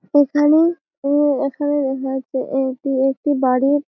এখানে-এ এ এখানে লেখা আছে এইটি একটি বাড়ির--